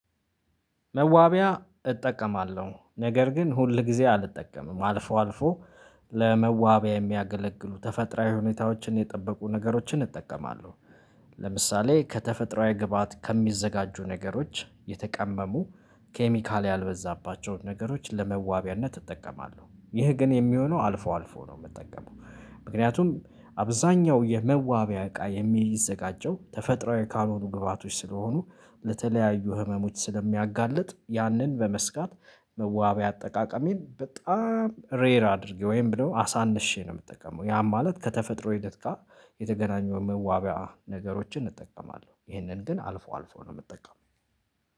መዋቢያ እጠቀማለሁ ነገር ግን ሁል ጊዜ አልጠቀምም አልፎ አልፎ ለመዋቢያ የሚያገለግሉ ተፈጥሮአዊ ሁኔታዎችን የጠበቁ ነገሮችን እጠቀማለሁ። ለምሳሌ ከተፈጥሮአዊ ግብአት ከሚዘጋጁ ነገሮች የተቀመሙ ኬሚካል ያልበዛባቸውን ነገሮች ለመዋቢያነት እጠቀማለሁ። ይህ ግን የሚሆነው አልፎ አልፎ ነው የምጠቀመው ምክንያቱም አብዛኛው የመዋቢያ እቃ የሚዘጋጀው ተፈጥሮአዊ ካልሆኑ ግብአቶች ስለሆኑ ለተለያዩ ህመሞች ስለሚያጋልጥ ያንን በመስጋት መዋቢያ አጠቃቀሜን በጣም ሬር አድርጌ ወይም ደግሞ አሳንሼ ነው የምጠቀመው ያም ማለት ከተፈጥሮ ሂደት ጋር የተገናኘው መዋቢያ ነገሮችን እጠቀማለሁ። ይሄንን ግን አልፎ አልፎ ነው የምጠቀመው